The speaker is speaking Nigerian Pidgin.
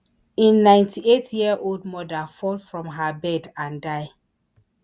A ninety-eight year old mother fall from her bed and die